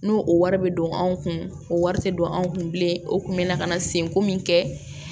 N'o o wari bɛ don anw kun o wari tɛ don an kun bilen o tun bɛ na ka na senko min kɛ